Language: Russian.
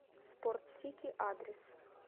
спортсити адрес